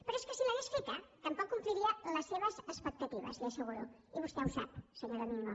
però és que si l’hagués feta tampoc compliria les seves expectatives li ho asseguro i vostè ho sap senyor domingo